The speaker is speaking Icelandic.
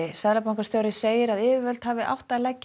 seðlabankastjóri segir að yfirvöld hafi átt að leggja